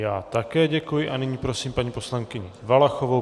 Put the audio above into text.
Já také děkuji a nyní prosím paní poslankyni Valachovou.